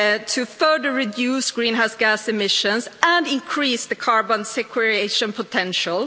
to further reduce greenhouse gas emissions and increase the carbon sequestration potential.